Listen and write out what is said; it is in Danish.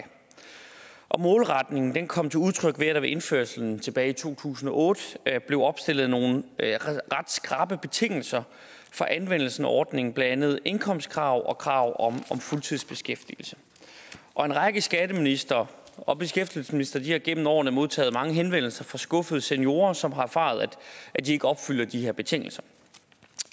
og målretningen kom til udtryk ved at der ved indførelsen tilbage i to tusind og otte blev opstillet nogle ret skrappe betingelser for anvendelsen af ordningen det andet et indkomstkrav og krav om fuldtidsbeskæftigelse og en række skatteministre og beskæftigelsesministre har igennem årene modtaget mange henvendelser fra skuffede seniorer som har erfaret at de ikke opfyldte de her betingelser